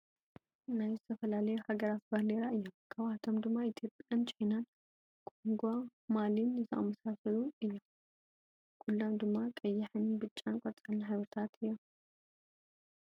ናይ ዝተፈላለዩ ሃገራት ባንዴራ እዮም ።ካብ ኣቶም ድማ ኢትዮጵያ ን ቻይናን ኮንጎ ማሊን ዝኣመሳሳሉ እዮም ።ኩሎም ድማ ቀይሕን ብጫን ቆፃል ሕብርታት እዮም።